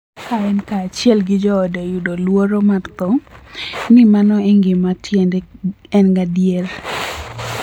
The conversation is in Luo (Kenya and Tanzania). Ka en kaachiel gi joode yudo luoro mar tho, ni mano e gima tiende en gadier.